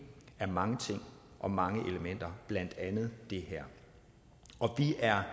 af mange ting og mange elementer blandt andet det her og vi er